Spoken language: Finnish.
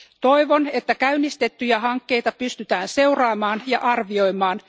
Toivon, että käynnistettyjä hankkeita pystytään seuraamaan ja arvioimaan.